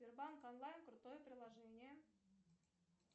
сбербанк онлайн крутое приложение